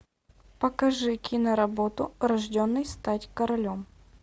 покажи киноработу рожденный стать королем